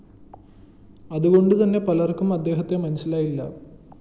അതുകൊണ്ടു തന്നെ പലര്‍ക്കും അദ്ദേഹത്തെ മനസിലായില്ല